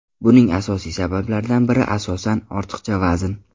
Buning asosiy sabablaridan biri asosan, ortiqcha vazn.